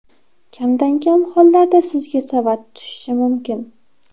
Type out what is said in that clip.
Kamdan-kam hollarda sizga savat tushishi mumkin.